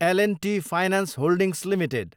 L and T finance holdings limited